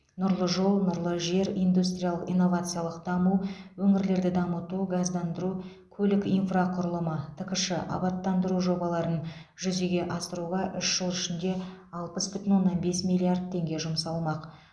нұрлы жол нұрлы жер индустриялық инновациялық даму өңірлерді дамыту газдандыру көлік инфрақұрылымы ткш абаттандыру жобаларын жүзеге асыруға үш жыл ішінде алпыс бүтін оннан бес миллиард теңге жұмсалмақ